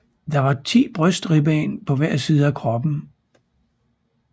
Der var ti brystribben på hver side af kroppen